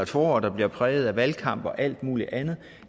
forår der bliver præget af valgkamp og alt muligt andet